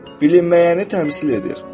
Bilinməyəni təmsil edir.